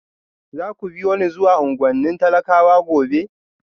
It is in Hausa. Za ku biyo ni zuwa unguwannin talakawa gobe?